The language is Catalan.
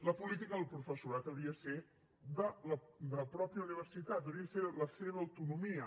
la política del professorat hauria de ser de la mateixa universitat hauria de ser de la seva autonomia